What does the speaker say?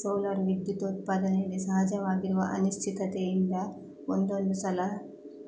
solar ವಿದ್ಯುತ್ ಉತ್ಪಾದನೆಯಲ್ಲಿ ಸಹಜವಾಗಿರುವ ಅನಿಶ್ಚಿತತೆಯಿಂದ ಒಂದೊಂದು ಸಲ